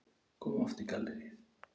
Kom oft í galleríið.